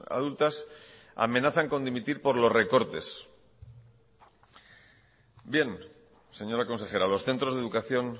adultas amenazan por dimitir por lo recortes bien señora consejera los centros de educación